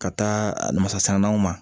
Ka taa masalaw ma